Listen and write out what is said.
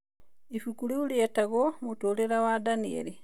Ibuku rĩu rĩetagwo "Mũtũũrĩre wa Danieli".